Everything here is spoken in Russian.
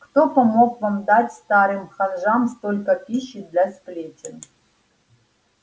кто помог вам дать старым ханжам столько пищи для сплетен